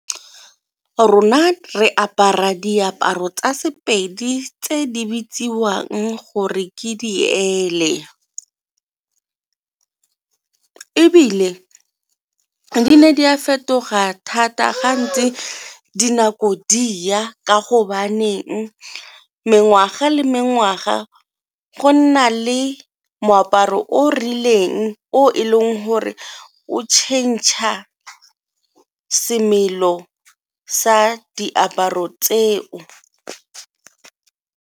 Rona re apara diaparo tsa Sepedi tse di bitsiwang gore ke di ebile di ne di a fetoga thata ga ntse dinako di ya, ka go baneng mengwaga le mengwaga go nna le moaparo o rileng o e leng gore o tšhentšha semelo sa diaparo tseo.